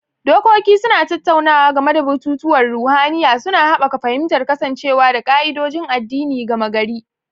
Dokoki suna tattaunawa game da batutuwan ruhaniya, suna haɓaka fahimtar kasancewa da ƙa'idodin addini gama gari.